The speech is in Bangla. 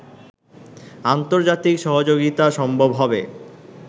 আন্তর্জাতিক সহযোগিতা সম্ভব হবে